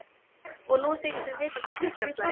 Og nú þykist það vita hvað klukkan slær.